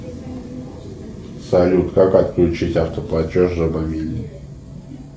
салют как отключить автоплатеж за мобильный